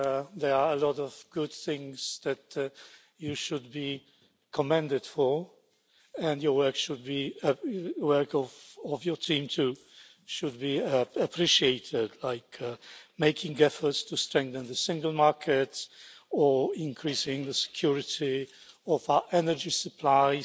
There are a lot of good things that you should be commended for, and the work of your team, too, should be appreciated, like making efforts to strengthen the Single Market, increasing the security of our energy supplies,